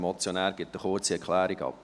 der Motionär gibt eine kurze Erklärung ab.